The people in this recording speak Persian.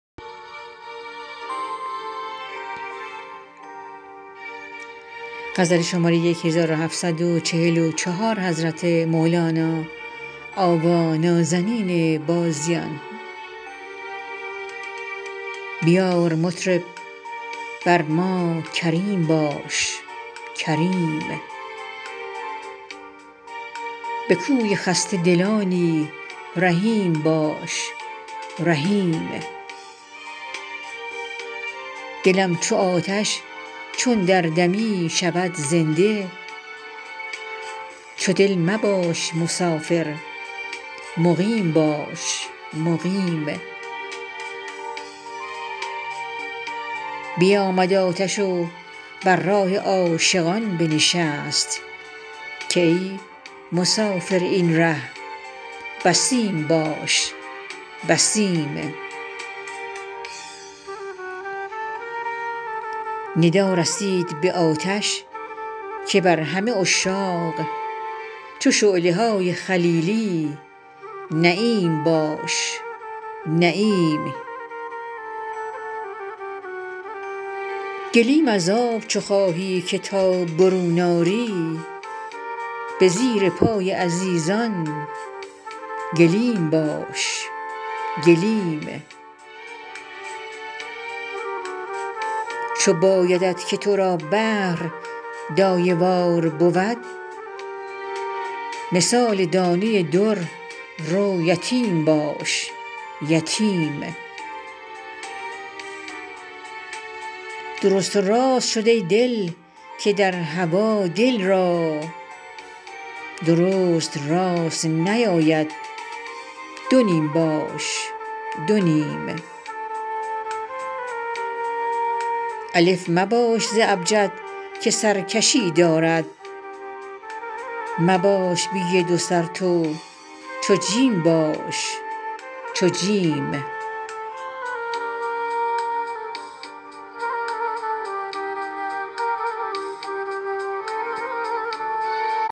بیار مطرب بر ما کریم باش کریم به کوی خسته دلانی رحیم باش رحیم دلم چو آتش چون در دمی شود زنده چو دل مباش مسافر مقیم باش مقیم بیامد آتش و بر راه عاشقان بنشست که ای مسافر این ره یتیم باش یتیم ندا رسید به آتش که بر همه عشاق چو شعله های خلیلی نعیم باش نعیم گلیم از آب چو خواهی که تا برون آری به زیر پای عزیزان گلیم باش گلیم چو بایدت که تو را بحر دایه وار بود مثال دانه در رو یتیم باش یتیم درست و راست شد ای دل که در هوا دل را درست راست نیاید دو نیم باش دو نیم الف مباش ز ابجد که سرکشی دارد مباش بی دو سر تو چو جیم باش چو جیم